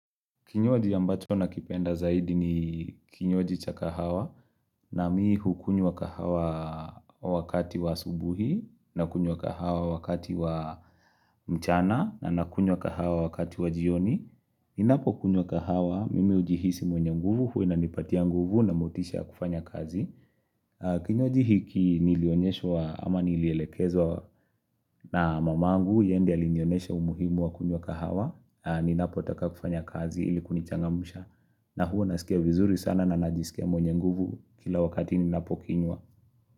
Kinywaji ambacho nakipenda zaidi ni kinywaji cha kahawa na mimi hukunywa kahawa wakati wa asubuhi, nakunywa kahawa wakati wa mchana, na nakunywa kahawa wakati wa jioni. Ninapokunywa kahawa, mimi hujihisi mwenye nguvu, huwa inanipatia nguvu na motisha ya kufanya kazi. Kinywaji hiki nilionyeshwa, ama nilielekezwa na mamangu, yeye ndio alinionyesha umuhimu wa kunywa kahawa. Ninapotaka kufanya kazi ili kunichangamsha na huwa nasikia vizuri sana na najisikia mwenye nguvu kila wakati ninapokinywa.